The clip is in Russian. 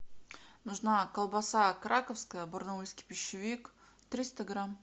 нужна колбаса краковская барнаульский пищевик триста грамм